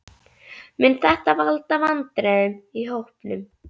Mun þetta valda vandræðum í hópnum?